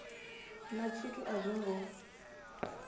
na tshithu a zwo ngo